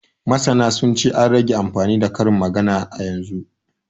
Masana sun ce, an rage amfani da karin magana yanzu